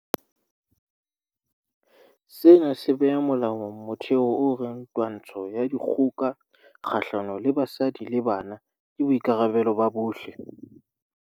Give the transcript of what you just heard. Sena se beha molaong motheo o reng twantsho ya dikgoka kgahlano le basadi le bana ke boikarabelo ba bohle.